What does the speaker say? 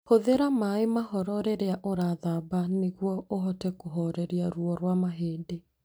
Hũthĩra maĩ mahoro rĩrĩa ũrathamba nĩguo ũhote kũhooreria ruo rwa mahĩndĩ.